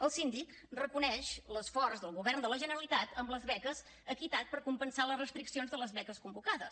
el síndic reconeix l’esforç del govern de la generalitat amb les beques equitat per compensar les restriccions de les beques convocades